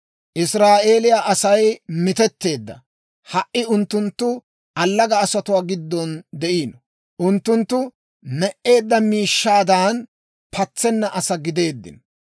Israa'eeliyaa Asay mitetteedda; ha"i unttunttu allaga asatuwaa giddon de'iino; unttunttu me"eedda miishshaadan, patsenna asaa gideeddino.